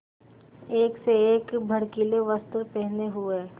एक से एक भड़कीले वस्त्र पहने हुए